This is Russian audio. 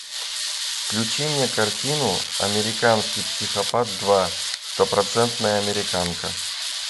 включи мне картину американский психопат два стопроцентная американка